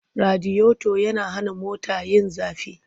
Radiyoto yana hana mota yin zafi.